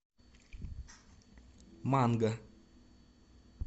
манго